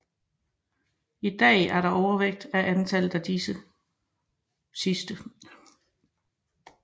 I dag er der overvægt af antallet af disse sidste